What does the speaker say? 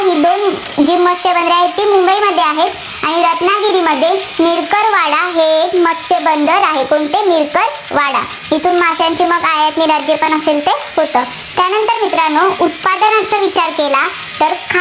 मुंबईमध्ये आहेत. आणि रत्नागिरीमध्ये मिरकरवाडा हे एक मत्स्य बंदर आहे. कोणते? मिरकरवाडा. येथून माशाची आयात निर्यात जेपण असेल ते होतं. त्यानंतर मित्रांनो उत्पादनांचा विचार केला तर